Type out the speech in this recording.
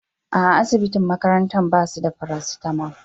A'a asibitin makaranta basu da parasitamol.